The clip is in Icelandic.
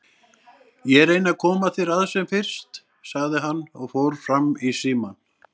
Ég reyni að koma þér að sem fyrst, sagði hann og fór fram í símann.